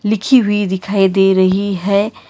लिखी हुई दिखाई दे रही है।